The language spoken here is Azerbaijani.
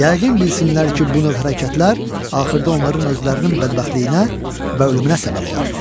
Yəqin bilsinlər ki, bu növ hərəkətlər axırda onların özlərinin bədbəxtliyinə və ölümünə səbəb olar.